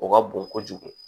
O ka bon kojugu